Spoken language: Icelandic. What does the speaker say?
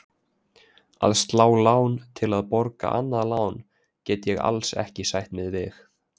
Að slá lán til að borga annað lán get ég alls ekki sætt mig við.